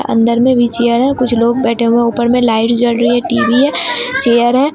अंदर में भी चेयर है कुछ लोग बैठे हुए है ऊपर में लाइट जल रही है टी_बी है चेयर है।